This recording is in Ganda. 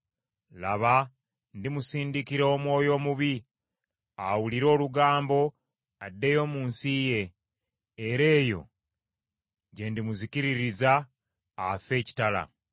Laba ndimusindikira omwoyo omubi, awulire olugambo addeyo mu nsi ye. Era eyo gye ndimuzikiririza afe ekitala.’ ”